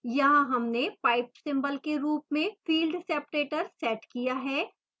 यहाँ हमने pipe symbol के रूप में field separator set किया है